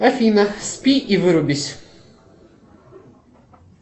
афина спи и вырубись